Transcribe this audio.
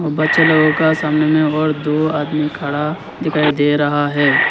बच्चे लोगों का सामने में और दो आदमी खड़ा दिखाई दे रहा है।